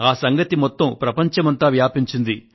ఈ సంగతి ప్రపంచమంతా వ్యాపించింది